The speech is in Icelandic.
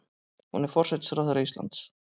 Hún er forsætisráðherra Íslands.